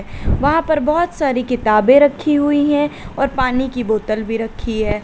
वहां पर बहुत सारी किताबें रखी हुई हैं और पानी की बोतल भी रखी है।